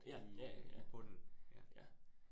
Ja, ja ja, ja, ja, ja